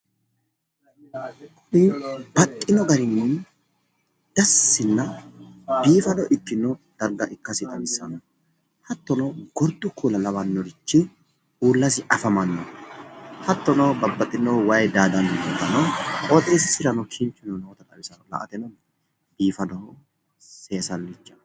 baxxino garinni dassina biifado ikkino dargga ikkasi xawissanno hattono gordu kuula lawannorichi aanasi afamanno hattono qooxeessisira wayi daadanno dargga xawissanno .